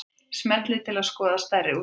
Smellið til að skoða stærri útgáfu